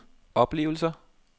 oplevelser